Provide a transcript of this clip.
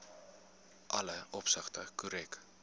alle opsigte korrek